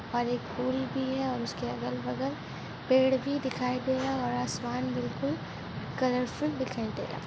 और एक पूल भी है और उसके अगल बगल पेड़ भी दिखाई दे रहा है और आसमान बिलकुल कलर फुल दिखाई दे रहा है।